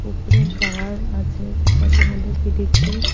কুকুরের খাবার আছে যেটাকে বলে পিডিগ্ৰি ।